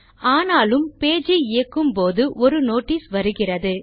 ஆனாலும் பேஜ் ஐ இயக்கும் போது ஒரு நோட்டிஸ் வருகிறது